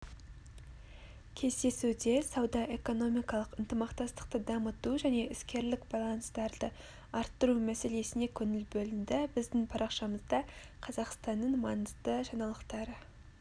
кездесуде сауда-экономикалық ынтымақтастықты дамыту және іскерлік байланыстарды арттыру мәселесіне көңіл бөлінді біздің парақшамызда қазақстанның маңызды жаңалықтары